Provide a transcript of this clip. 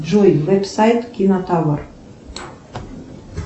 джой веб сайт кинотавр